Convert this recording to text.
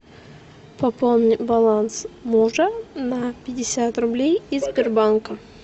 пополни баланс мужа на пятьдесят рублей из сбербанка